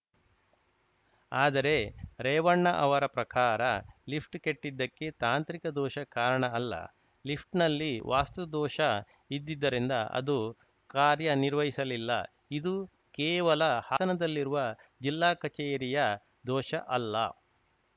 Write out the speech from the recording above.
ಆದರೆ ರೇವಣ್ಣ ಅವರ ಪ್ರಕಾರ ಲಿಫ್ಟ್‌ ಕೆಟ್ಟಿದ್ದಕ್ಕೆ ತಾಂತ್ರಿಕ ದೋಷ ಕಾರಣ ಅಲ್ಲ ಲಿಫ್ಟ್‌ನಲ್ಲಿ ವಾಸ್ತು ದೋಷ ಇದ್ದಿದ್ದರಿಂದ ಅದು ಕಾರ್ಯನಿರ್ವಹಿಸಲಿಲ್ಲ ಇದು ಕೇವಲ ಹಾನದಲ್ಲಿರುವ ಜಿಲ್ಲಾ ಕಚೇರಿಯ ದೋಷ ಅಲ್ಲ